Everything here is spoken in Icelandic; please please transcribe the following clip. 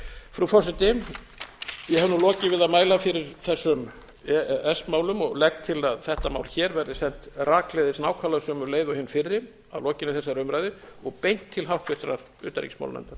frú forseti ég hef nú lokið við að mæla fyrir þessum e e s málum og legg til að þetta mál hér verði sent rakleiðis nákvæmlega sömu leið og hin fyrri að lokinni þessari umræðu og beint til háttvirtrar utanríkismálanefndar